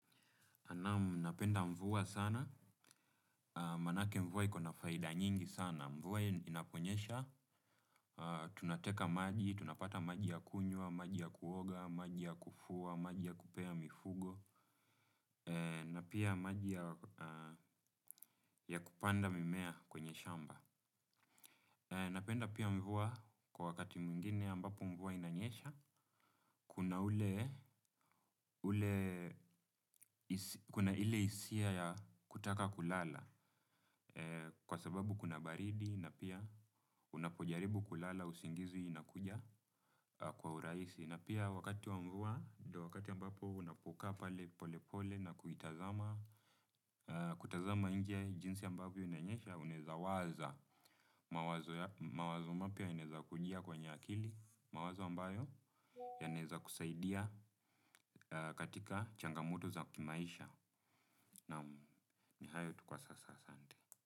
Naam napenda mvua sana, manake mvua iko na faida nyingi sana, mvua inaponyesha, tunateka maji, tunapata maji ya kunywa, maji ya kuoga, maji ya kufua, maji ya kupea mifugo, na pia maji ya kupanda mimea kwenye shamba. Napenda pia mvua kwa wakati mwingine ambapo mvua inanyesha, kuna ile hisia ya kutaka kulala kwa sababu kuna baridi na pia unapojaribu kulala usingizi inakuja kwa urahisi. Na pia wakati wa mvua, ndo wakati ambapo unapokaa pale pole pole na kuitazama. Kutazama nje jinsi ambavyo inanyesha unaeza waza. Mawazo mapya inaeza kujia kwenye akili. Mawazo ambayo yanaeza kusaidia katika changamoto za kimaisha. Naam ni hayo tu kwa sasa asante.